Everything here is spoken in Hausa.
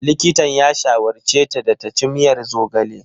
Likitan ya shawarce ta da ta ci miyar zogale.